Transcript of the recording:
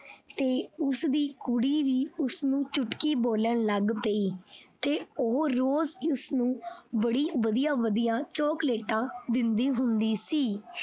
ਤੇ ਉਸਦੀ ਕੁੜੀ ਵੀ ਉਸਨੂੰ ਚੁਟਕੀ ਬੋਲਣ ਲੱਗ ਪਈ ਤੇ ਉਹ ਰੋਜ਼ ਉਸਨੂੰ ਬੜੀ ਵਧੀਆ ਵਧੀਆ ਚੋਕਲੇਟਾਂ ਦਿੰਦੀ ਹੁੰਦੀ ਸੀ।